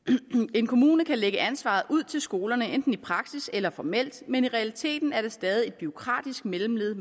en kommune kan lægge ansvaret ud til skolerne enten i praksis eller formelt men i realiteten er der stadig et bureaukratisk mellemled